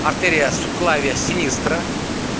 артэриа суклавиа синистра